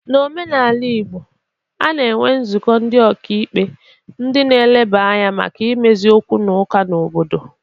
N'omenala Igbo, a na-enwe nzụkọ ndị ọka ikpe ndị na-eleba anya maka imezi okwu na ụka n'obodo.